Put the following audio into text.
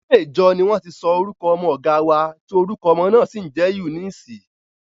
Ilé ìjọ ni wọ́n ti sọ orúkọ ọmọ ọ̀gá wa, tí orúkọ ọmọ náà sì ń jẹ́ Eunice